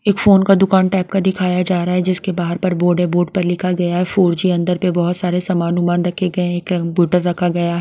एक फोन का दुकान टाईप का दिखाया जा रहा है। जिसके बाहर पर बोर्ड है। बोर्ड पर लिखा गया है फोर जी । अंदर पर बहुत सारे सामान रखे गए हैं। कंप्यूटर रखा गया है।